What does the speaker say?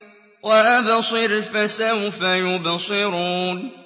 وَأَبْصِرْ فَسَوْفَ يُبْصِرُونَ